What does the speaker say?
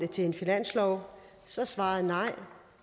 til en finanslov så er svaret nej